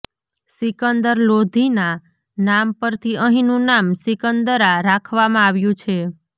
સિકંદર લોધીના નામ પરથી અહીંનુ નામ સિકંદરા રાખવામાં આવ્યું છે